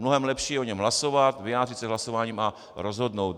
Mnohem lepší je o něm hlasovat, vyjádřit se hlasováním a rozhodnout.